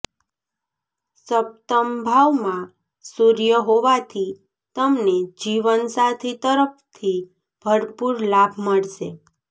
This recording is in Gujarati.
સપ્તમ ભાવમાં સૂર્ય હોવાથી તમને જીવન સાથી તરફથી ભરપૂર લાભ મળશે